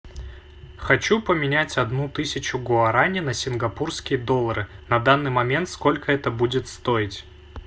хочу поменять одну тысячу гуараней на сингапурские доллары на данный момент сколько это будет стоить